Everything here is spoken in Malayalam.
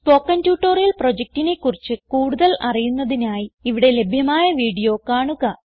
സ്പോകെൻ ട്യൂട്ടോറിയൽ പ്രൊജക്റ്റിനെ കുറിച്ച് കൂടുതൽ അറിയുന്നതിനായി ഇവിടെ ലഭ്യമായ വീഡിയോ കാണുക